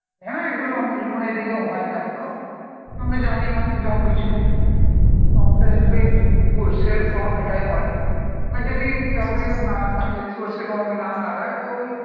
হ্যাঁ এগুলো আমি টো তো মানে এদিকে হয় না তো, আমরা জানি না সেরম কিছু আমরা এদিকেই উম সরষে গম এটাই হয় আর যদি কেউরিউ না থাকে সরষে গম না লাগায় তো ওই